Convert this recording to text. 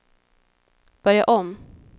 börja om